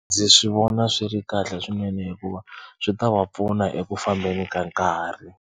Ndzi swi vona swi ri kahle swinene hikuva swi ta va pfuna eku fambeni ka nkarhi.